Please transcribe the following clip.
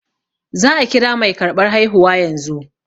Za a kira mai karɓar haihuwa yanzu